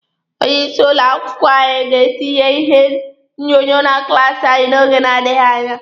Onye isi ụlọ akwụkwọ anyị ga-etinye ihe onyonyo na klaasi anyị n'oge na-adịghi anya.